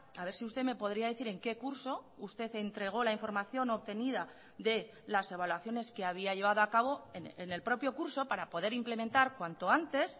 a ver si usted me podría decir en qué curso usted entregó la información obtenida de las evaluaciones que había llevado a cabo en el propio curso para poder implementar cuanto antes